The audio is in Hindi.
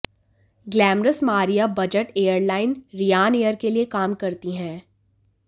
glamorous Maria budget airline Ryanair के लिए काम करती हैं